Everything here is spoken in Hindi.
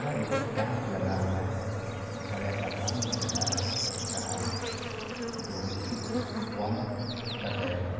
यह एक केंप लगा हुआ है बड़ा-सा ग्राउंड दिख रहा है जहाँ दो व्यक्ति वार्म अप कर रहे है।